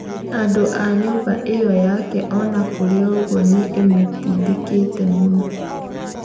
Andũa nyũmba ĩo yake ona kũrĩ ũguo nĩ ĩmũtindikite muno